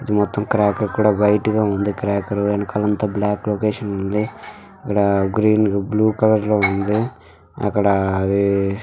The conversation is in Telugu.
మొత్తం క్రాకర్ కూడా వైట్గా ఉంది. క్రాకర్ వెనకాల అంత బ్లాక్ లొకేషన్ లో ఉంది. ఇక్కడ గ్రీన్ బ్లూ కలర్ లో ఉంది. అక్కడ అది--